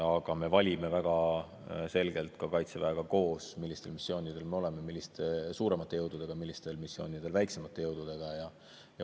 Aga me valime väga selgelt ka Kaitseväega koos, millistel missioonidel me oleme suuremate jõududega, millistel missioonidel väiksemate jõududega.